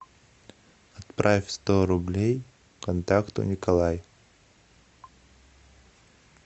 отправь сто рублей контакту николай